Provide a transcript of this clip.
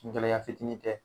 Kungɛlɛya fitini tɛ.